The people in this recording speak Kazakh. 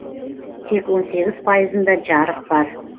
тек он сегіз пайызында жарық бар